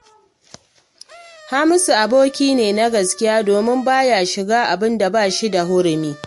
Hamisu aboki ne na gaskiya domin ba ya shiga abin da ba shi da hurumi